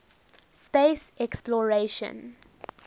space exploration